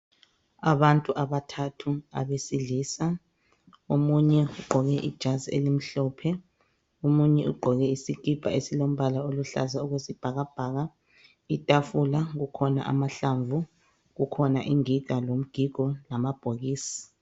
Abantu abathathu abesilisa omunye ugqoke ijazi elimhlophe omunye ugqoke isikipa esilombala oluhlaza okwesibhakabhaka .Itafula kukhona amahlamvu kukhona ingiga lomgigo lamabhokisi .